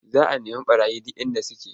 Za a nemu ɓarayin duk inda suke.